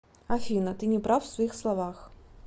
афина ты неправ в своих словах